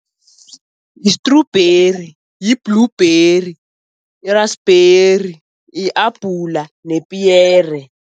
Yistrubheri, yi-blueberry, yi-raspberry, yi-abhula nepiyere.